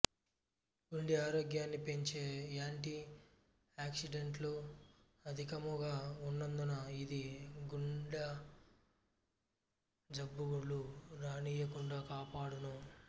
గుండె ఆరోగ్యాన్ని పెంచే యాంటి ఆక్షిడెంట్లు అధికము గా ఉన్నందున ఇది గుండ జబ్బులు రానీయకుండా కాపాడును